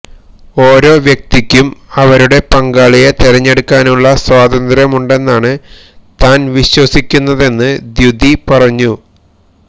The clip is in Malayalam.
ഓരോ വ്യക്തിക്കും അവരുടെ പങ്കാളിയെ തെരഞ്ഞെടുക്കാനുള്ള സ്വാതന്ത്രമുണ്ടെന്നാണ് താന് വിശ്വസിക്കുന്നതെന്ന് ദ്യുതീ പറഞ്ഞു